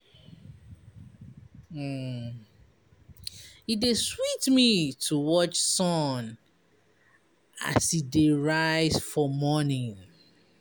E dey sweet me to watch sun as e dey rise for morning.